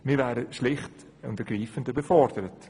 Wir wären schlicht und ergreifend überfordert.